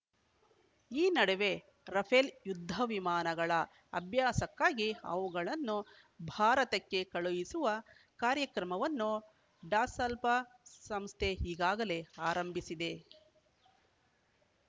ಈ ನಡುವೆ ರಫೇಲ್‌ ಯುದ್ಧ ವಿಮಾನಗಳ ಅಭ್ಯಾಸಕ್ಕಾಗಿ ಅವುಗಳನ್ನು ಭಾರತಕ್ಕೆ ಕಳುಹಿಸುವ ಕಾರ್ಯವನ್ನು ಡಸಾಲ್ಬ್ ಸಂಸ್ಥೆ ಈಗಾಗಲೇ ಆರಂಭಿಸಿದೆ